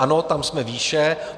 Ano, tam jsme výše.